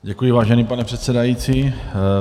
Děkuji, vážený pane předsedající.